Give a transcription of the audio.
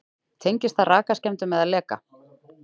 Tengist það rakaskemmdum eða leka?